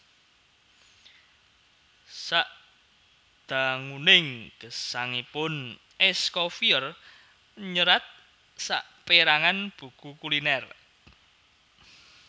Sadanguning gesangipun Escoffier nyerat sapèrangan buku kulinèr